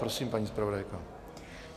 Prosím, paní zpravodajko.